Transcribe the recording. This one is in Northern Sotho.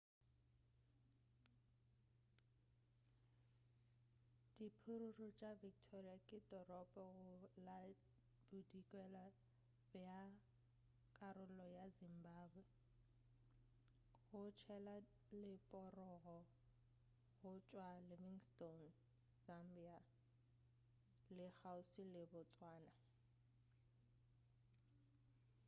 diphororo tša victoria ke toropo go la bodikela bja karolo ya zimbabwe go tshela leporogo go tšwa livingstone zambia le kgauswi le botswana